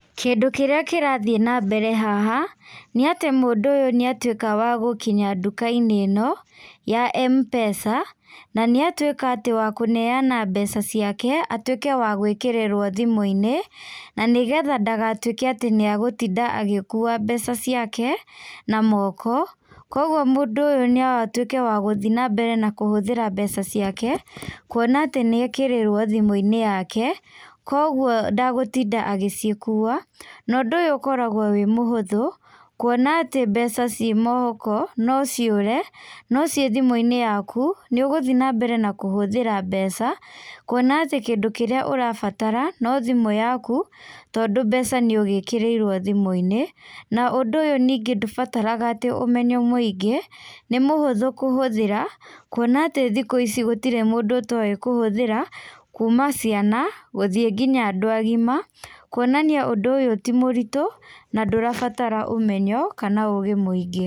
Kĩndũ kĩrĩa kĩrathĩi nambere haha, nĩatĩ mũndũ ũyũ nĩatuĩka wa gũkinya ndukainĩ ĩno, ya M-pesa, na nĩatuĩka atĩ wa kũneana mbeca ciake atuĩke wa gwĩkĩrĩrwo thimũinĩ, na nĩgetha ndagatuĩke atĩ nĩagũtinda agĩkua mbeca ciake, na moko, koguo mũndũ ũyũ no atuĩke wa gũthiĩ na mbere na kũhũthĩra mbeca ciake, kuona atĩ nĩekĩrĩrwo thimũinĩ yake, koguo ndagũtinda agĩcikua, na ũndũ ũyũ ũkoragwo wĩ mũhũthu, kwona atĩ mbeca ciĩ moko, no ciũre, no ciĩ thimũinĩ yaku, nĩũgũthiĩ nambere na kũhũthĩra mbeca, kuona atĩ kindũ kĩrĩa ũrabatara no thimũ yaku, tondũ mbeca nĩũgĩkĩriirwo thimũinĩ, na ũndũ ũyũ ningĩ ndũbataraga atĩ ũmenyo mũingĩ, nĩ mũhũthu kũhũthĩra, kuona atĩ thikũ ici gũtirĩ mũndũ ũtoĩ kũhũthĩra, kuma ciana gũthiĩ nginya andũ agima, kuonania ũndũ ũyũ ti mũritũ, na ndũrabatara ũmenyo, kana ũgĩ mũingĩ.